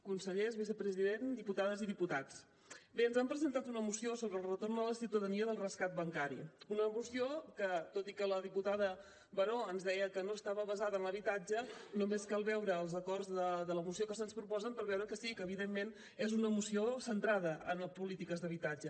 consellers vicepresident diputades i diputats bé ens han presentat una moció sobre el retorn a la ciutadania del rescat bancari una moció que tot i que la diputada baró ens deia que no estava basada en habitatge només cal veure els acords de la moció que se’ns proposa per veure que sí que evidentment és una moció centrada en polítiques d’habitatge